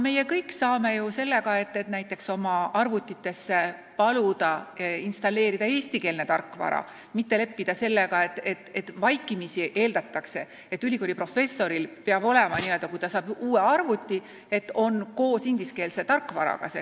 Me kõik saame ju paluda oma arvutitesse installeerida eestikeelse tarkvara, mitte leppida sellega, et vaikimisi eeldatakse, et ülikooli professoril peab olema, kui ta saab uue arvuti, selles ingliskeelne tarkvara.